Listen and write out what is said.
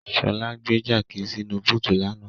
Ṣọlá gbé jáàkì sínu búùtù lánàá.